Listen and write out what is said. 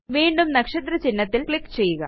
വീണ്ടും നക്ഷത്ര ചിഹ്നത്തിൽ ക്ലിക്ക് ചെയ്യുക